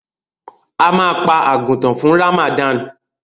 Ama pa àgùtàn fún Ramadan.